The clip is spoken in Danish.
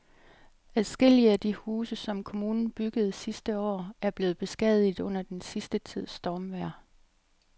Adskillige af de huse, som kommunen byggede sidste år, er blevet beskadiget under den sidste tids stormvejr.